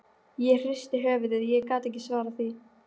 Ég hristi höfuðið, ég gat ekki svarað því.